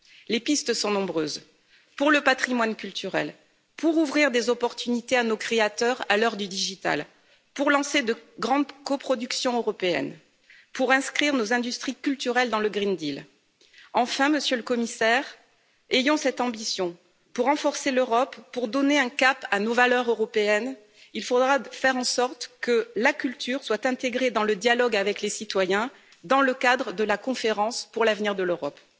Les pistes sont nombreuses, pour le patrimoine culturel, pour ouvrir des opportunités à nos créateurs à l'heure du numérique, pour lancer de grandes coproductions européennes, pour inscrire nos industries culturelles dans le pacte vert européen. Enfin, Monsieur le Commissaire, ayons cette ambition pour renforcer l'Europe, pour donner un cap à nos valeurs européennes, il faudra faire en sorte que la culture soit intégrée dans le dialogue avec les citoyens dans le cadre de la Conférence pour l'avenir de l'Europe.